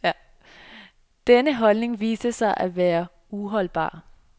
Den holdning viste sig at være uholdbar.